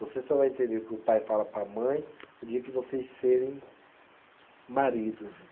Você só vai entender o que o pai fala para a mãe o dia que vocês serem maridos.